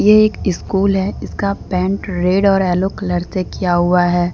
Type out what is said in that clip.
एक स्कूल है इसका पेंट रेड और येलो कलर से किया हुआ हैं।